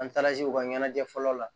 An taara se u ka ɲɛnajɛ fɔlɔ la